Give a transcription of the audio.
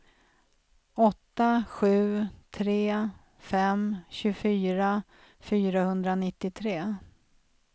åtta sju tre fem tjugofyra fyrahundranittiotre